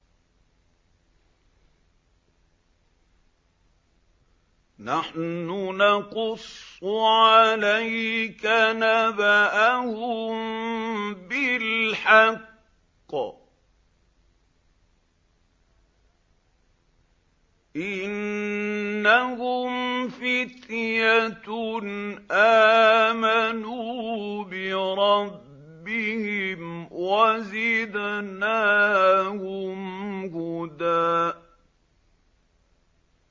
نَّحْنُ نَقُصُّ عَلَيْكَ نَبَأَهُم بِالْحَقِّ ۚ إِنَّهُمْ فِتْيَةٌ آمَنُوا بِرَبِّهِمْ وَزِدْنَاهُمْ هُدًى